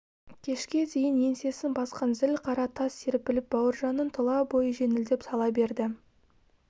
кешке дейін еңсесін басқан зіл қара тас серпіліп бауыржанның тұла бойы жеңілдеп сала берді